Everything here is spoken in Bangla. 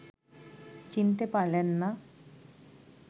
চিনতে পারলেন না